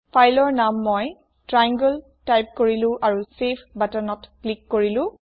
ফাইলৰ নাম মই ট্ৰায়াংলে টাইপ কৰিলো আৰু চেভ বটনত ক্লিক কৰিলো